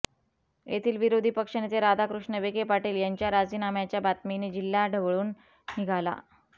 येथील विरोधी पक्षनेते राधाकृष्ण विखे पाटील यांच्या राजीनाम्याच्या बातमीने जिल्हा ढवळून निघाला